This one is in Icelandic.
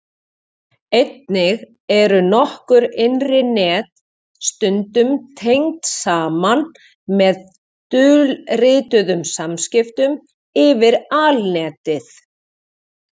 Einnig eru nokkur innri net stundum tengd saman með dulrituðum samskiptum yfir Alnetið.